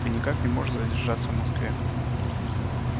ты никак не можешь задержаться в москве